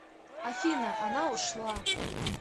афина она ушла